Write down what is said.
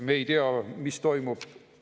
Me ei tea, mis toimub.